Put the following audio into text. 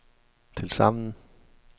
tilsammen